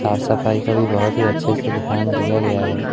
साफ सफाई का भी बहोत ही अच्छे से ध्यान दिया गया है।